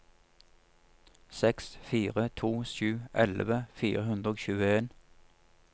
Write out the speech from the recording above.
seks fire to sju elleve fire hundre og tjueen